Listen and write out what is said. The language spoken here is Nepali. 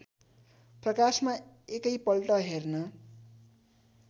प्रकाशमा एकैपल्ट हेर्न